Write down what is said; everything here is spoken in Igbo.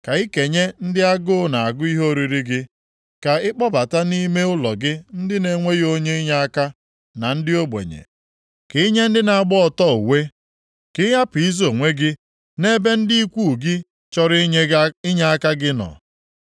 Ka i kenye ndị agụụ na-agụ ihe oriri gị, ka ị kpọbata nʼime ụlọ gị ndị na-enweghị onye inyeaka, ma ndị ogbenye. Ka i nye ndị na-agba ọtọ uwe, ka ị hapụ izo onwe gị nʼebe ndị ikwu gị chọrọ inyeaka gị nọ.